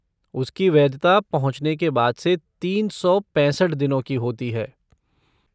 उसकी वैधता पहुँचने के बाद से तीन सौ पैंसठ दिनों की होती है।